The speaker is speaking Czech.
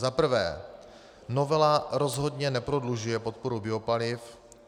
Za prvé, novela rozhodně neprodlužuje podporu biopaliv.